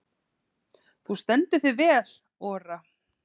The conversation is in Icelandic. Þú stendur þig vel, Ora!